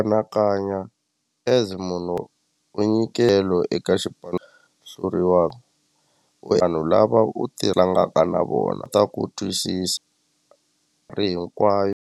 Anakanya as munhu u nyikelo eka xipano hluriwa vanhu lava u tlangaka na vona ta ku twisisa ri hinkwayo.